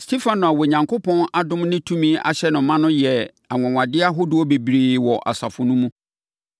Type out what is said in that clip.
Stefano a Onyankopɔn adom ne tumi ahyɛ no ma no yɛɛ anwanwadeɛ ahodoɔ bebree wɔ asafo no mu.